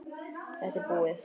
Þetta er búið!